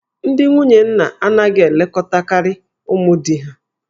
Ndị nwunye nna anaghị elekọtakarị ụmụ di ha